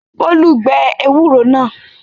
Bólú gbẹ ewúro náà?